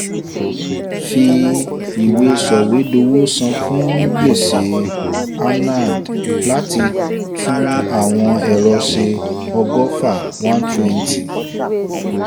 fi ìwé sọ̀wédowó san fún gbèsè a anand láti tún àwọn ẹ̀rọ ṣe ọgọ́fà( one hundred twenty )